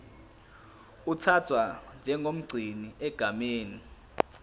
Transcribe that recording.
uthathwa njengomgcini egameni